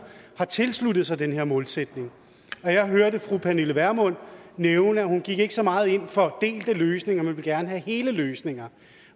har tilsluttet sig den her målsætning jeg hørte fru pernille vermund nævne at hun ikke så meget gik ind for delte løsninger men gerne ville have hele løsninger